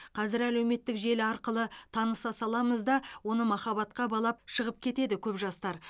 қазір әлеуметтік желі арқылы таныса саламыз да оны махаббатқа балап шығып кетеді көп жастар